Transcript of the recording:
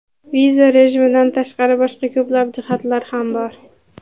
Viza rejimidan tashqari, boshqa ko‘plab jihatlar ham bor.